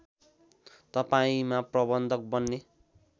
तपाईँमा प्रबन्धक बन्ने